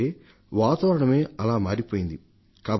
వాతావరణమే అలా మారిపోయింది కాబట్టి